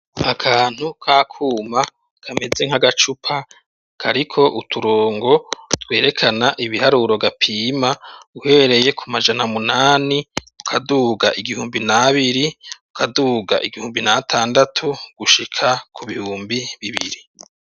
Akantu ka kuma kameze nk'agacupa kariko uturongo twerekana ibiharuro gapima uhereye ku majana munani ukaduga igihumbi n'abiri ukaduga igihumbi natandatu gushika ku bihumbi bibiri.